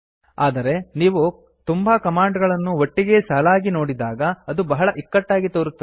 ಆದರೆ ನೀವು ತುಂಬಾ ಕಮಾಂಡ್ ಗಳನ್ನು ಒಟ್ಟಿಗೇ ಸಾಲಾಗಿ ನೋಡಿದಾಗ ಅದು ಬಹಳ ಇಕ್ಕಟ್ಟಾಗಿ ತೋರುತ್ತದೆ